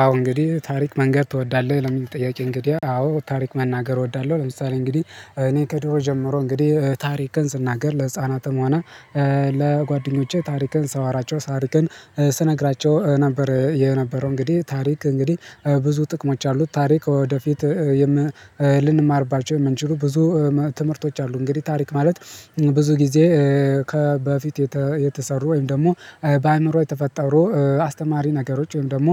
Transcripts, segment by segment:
አዎ እንግዲህ ታሪክ መንገር ትወዳለህ? ለሚል ጥያቄ እንግዲህ አዎ ታሪክ መናገር እወዳለሁ ለምሳሌ እንግዲህ እኔ ከድሮ ጀምሮ እንግዲህ ታሪክን ስናገር ለህፃናትም ሆነ ለጓደኞቼ ታሪክን ሳወራቸው ታሪክን ስነግራቸው ነበር የነበረው እንግዲህ ታሪክ እንግዲህ ብዙ ጥቅሞች አሉት ታሪክ ወደፊት ልንማርባቸው የምንችሉ ብዙ ትምህርቶች አሉ እንግዲህ ታሪክ ማለት ብዙ ጊዜ ከበፊት የተሰሩ ወይም ደግሞ በአእምሮ የተፈጠሩ አስተማሪ ነገሮች ወይም ደግሞ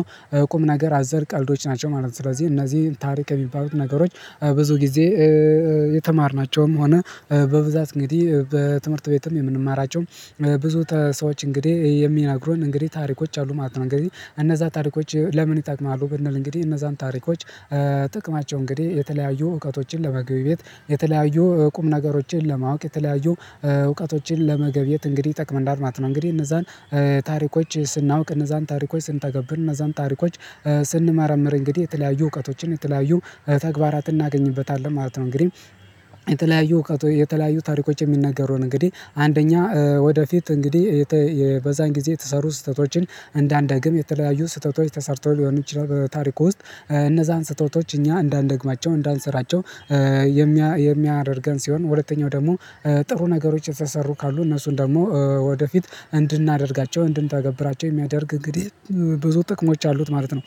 ቁም ነገር አዘር ቀልዶች ናቸው ማለት ነው ስለዚህ እነዚህ ታሪክ የሚባሉት ነገሮች ብዙ ጊዜ የተማርናቸውም ሆነ በብዛት እንግዲህ በትምህርት ቤትም የምንማራቸውም ብዙ ሰዎች እንግዲህ የሚነግሩን እንግዲህ ታሪኮች አሉ ማለት ነው እንግዲህ እነዛ ታሪኮች ለምን ይጠቅማሉ ብንል እንግዲህ እነዛን ታሪኮች ጥቅማቸው እንግዲህ የተለያዩ እውቀቶችን ለመገብየት የተለያዩ ቁም ነገሮችን ለማወቅ የተለያዩ እውቀቶችን ለመገብየት እንግዲህ ይጠቅመናል ማለት ነው እንግዲህ እነዛን ታሪኮች ስናውቅ እነዛን ታሪኮች ስንተገብር እነዛን ታሪኮች ስንመረምር እንግዲህ የተለያዩ እውቀቶችን የተለያዩ ተግባራትን እናገኝበታለን ማለት ነው እንግዲህ የተለያዩ እውቀቶ የተለያዩ ታሪኮች የሚናገሩን እንግዲህ አንደኛ ወደፊት እንግዲህ የበዛን ጊዜ የተሰሩ ስህተቶችን እንዳንደግም የተለያዩ ስህተቶች ተሰርተው ሊሆኑ ይችላሉ ታሪኩ ውስጥ እነዛን ስህተቶች እኛ እንዳንደግማቸው እንዳንስራቸው የሚያደርገን ሲሆን ሁለተኛው ደግሞ ጥሩ ነገሮች የተሰሩ ካሉ እነሱን ደግሞ ወደፊት እንድናደርጋቸው እንድንተግብራቸው የሚያደርግ እንግዲህ ብዙ ጥቅሞች አሉት ማለት ነው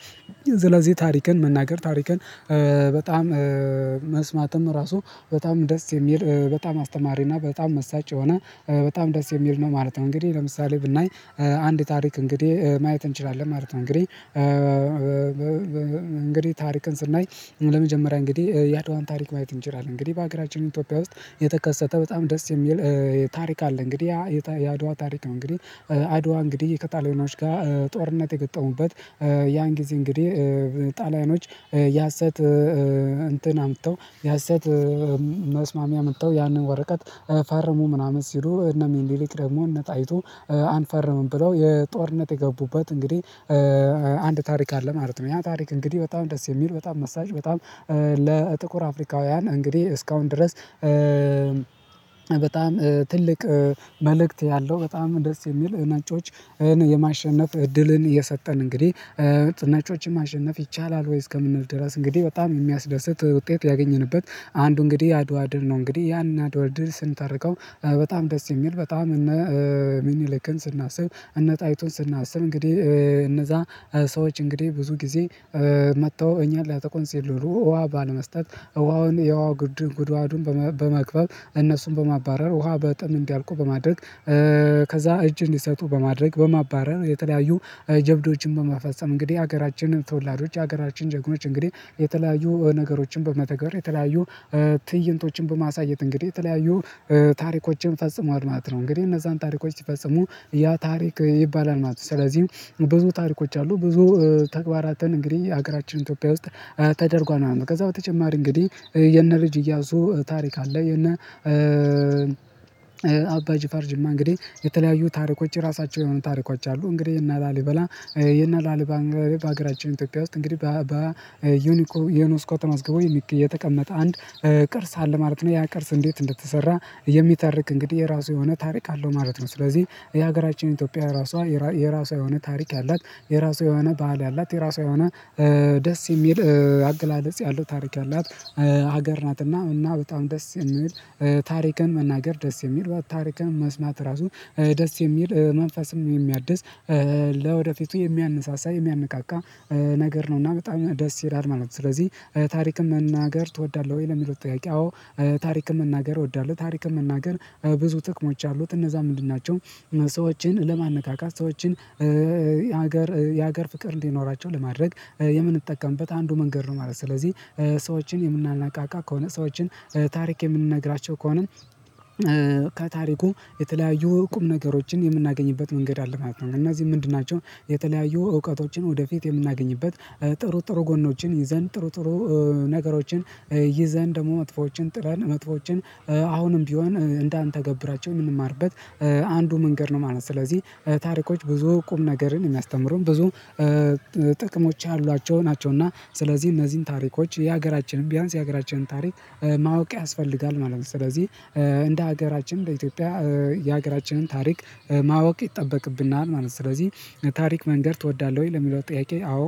ስለዚህ ታሪክን መናገር ታሪክን በጣም መስማትም ራሱ በጣም ደስ የሚል በጣም አስተማሪና በጣም መሳጭ ሆና በጣም ደስ የሚል ነው ማለት ነው እንግዲህ ለምሳሌ ብናይ አንድ ታሪክ እንግዲህ ማየት እንችላለን ማለት ነው እንግዲህ እንግዲህ ታሪክን ስናይ ለመጀመሪያ እንግዲህ የአድዋን ታሪክ ማየት እንችላለን እንግዲህ በሀገራችን ኢትዮጵያ ውስጥ የተከሰተ በጣም ደስ የሚል ታሪክ አለ እንግዲህ የአድዋ ታሪክ እንግዲህ አድዋ እንግዲህ ከጣሊያኖች ጋር ጦርነት የገጠሙበት ያን ጊዜ እንግዲህ ጣሊያኖች የሀሰት እንትን አምጥተው የሀሰት መስማሚያ አምተው ያንን ወረቀት ፈርሞ ምናምን ሲሉ እነሚኒልክ ደግሞ እነጣይቱ አንፈርምም ብለው የጦርነት የገቡበት እንግዲህ አንድ ታሪክ አለ ማለት ነው ያ ታሪክ እንግዲህ በጣም ደስ የሚል በጣም መሳጭ በጣም ለጥቁር አፍሪካውያን እንግዲህ እስካሁን ድረስ በጣም ትልቅ መልእክት ያለው በጣም ደስ የሚል ነጮችን የማሸነፍ እድልን እየሰጠን እንግዲህ ነጮችን ማሸነፍ ይቻላል ወይስ ከምንል ድረስ እንግዲህ በጣም የሚያስደስት ውጤት ያገኘንበት አንዱ እንግዲህ አድዋ ድል ነው እንግዲህ ያንን አድዋ ድል ስንተርከው በጣም ደስ የሚል በጣም እነ ሚኒሊክን ስናስብ እነ ጣይቱን ስናስብ እንግዲህ እነዛ ሰዎች እንግዲህ ብዙ ጊዜ መጥተው እኛን ሊያጠቁን ሲል ነው ውሃ ባለመስጠት ውሃውን የውሃ ጉድድር ጉድጓዱን በመክባብ እነሱን በማባረር ውሃ በጥም እንዲያልቁ በማድረግ ከዛ እጅን እንዲሰጡ በማድረግ በማባረር የተለያዩ ጀብዶችን በመፈጸም እንግዲህ ሀገራችንን ተወላዶች ሀገራችን ጀግኖች እንግዲህ የተለያዩ ነገሮችን በመተግር የተለያዩ ትእይንቶችን በማሳየት እንግዲህ የተለያዩ ታሪኮችን ፈጽመዋል ማለት ነው እንግዲህ እነዛን ታሪኮች ሲፈጽሙ ያ ታሪክ ይባላል ማለት ነው ስለዚህ ብዙ ታሪኮች አሉ ብዙ ተግባራትን እንግዲህ ሀገራችን ኢንቶፒያ ውስጥ ተደርጓል ከዛ በተጨማሪ እንግዲህ የነ ልጅ እያሱ ታሪክ አለ እና አባ ጅፋር ጅማ እንግዲህ የተለያዩ ታሪኮች ራሳቸው የሆኑ ታሪኮች አሉ እንግዲህ የነ ላሊበላ የነላሊባ በሀገራችን ኢትዮጵያ ውስጥ እንግዲህ በዩኒኮ ዩኒስኮ ተመዝግቦ የተቀመጠ አንድ ቅርስ አለ ማለት ነው ያ ቅርስ እንዴት እንደተሰራ የሚተርክ እንግዲህ የራሱ የሆነ ታሪክ አለው ማለት ነው ስለዚህ የሀገራችን ኢትዮጵያ ራሷ የራሷ የሆነ ታሪክ ያላት የራሷ የሆነ ባህል ያላት የራሷ የሆነ ደስ የሚል አገላለጽ ያለው ታሪክ ያላት ሀገር ናትና እና በጣም ደስ የሚል ታሪክን መናገር ደስ የሚል በታሪክህን መስማት ራሱ ደስ የሚል መንፈስም ነው የሚያድስ ለወደፊቱ የሚያነሳሳ የሚያነቃቃ ነገር ነው እና በጣም ደስ ይላል ማለት ነው ስለዚህ ታሪክን መናገር ትወዳለህ ወይ? ለሚለው ጥያቄ አዎ ታሪክን መናገር እወዳለሁ ታሪክን መናገር ብዙ ጥቅሞች አሉት እነዛ ምንድን ናቸው ሰዎችን ለማነቃቃት ሰዎችን የሀገር የሀገር ፍቅር እንዲኖራቸው ለማድረግ የምንጠቀምበት አንዱ መንገድ ነው ማለት ነው ስለዚህ ሰዎችን የምናነቃቃ ከሆነ ሰዎችን ታሪክ የምንነግራቸው ከሆነ ከታሪኩ የተለያዩ ቁም ነገሮችን የምናገኝበት መንገድ አለ ማለት ነው እነዚህ ምንድን ናቸው የተለያዩ እውቀቶችን ወደፊት የምናገኝበት ጥሩ ጥሩ ጎኖችን ይዘን ጥሩ ጥሩ ነገሮችን ይዘን ደግሞ መጥፎዎችን ጥለን መጥፎዎችን አሁንም ቢሆን እንዳንተገብራቸው የምንማርበት አንዱ መንገድ ነው ማለት ነው ስለዚህ ታሪኮች ብዙ ቁም ነገርን የሚያስተምሩን ብዙ ጥቅሞች ያሏቸው ናቸው እና ስለዚህ እነዚህን ታሪኮች የሀገራችንን ቢያንስ የሀገራችንን ታሪክ ማወቅ ያስፈልጋል ማለት ነው ስለዚህ እንደ ሀገራችን በኢትዮጵያ የሀገራችንን ታሪክ ማወቅ ይጠበቅብናል ማለት ነው ስለዚህ ታሪክ መንገድ ትወዳለህ ወይ ለሚለው ጥያቄ አዎ